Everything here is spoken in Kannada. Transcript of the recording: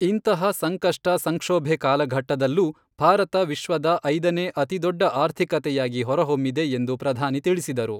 ಇಂತಹ ಸಂಕಷ್ಟ ಸಂಕ್ಷೋಭೆ ಕಾಲಘಟ್ಟದಲ್ಲೂ ಭಾರತ ವಿಶ್ವದ ಐದನೇ ಅತಿದೊಡ್ಡ ಆರ್ಥಿಕತೆಯಾಗಿ ಹೊರಹೊಮ್ಮಿದೆ ಎಂದು ಪ್ರಧಾನಿ ತಿಳಿಸಿದರು.